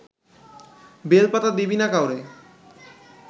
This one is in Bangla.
বেলপাতা দিবি না কাউরে